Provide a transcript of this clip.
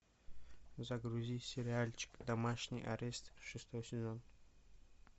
загрузи сериальчик домашний арест шестой сезон